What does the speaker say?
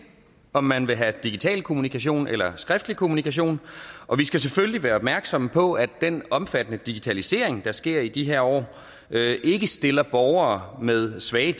om man vil have digital kommunikation eller skriftlig kommunikation og vi skal selvfølgelig være opmærksom på at den omfattende digitalisering der sker i de her år ikke stiller borgere med svage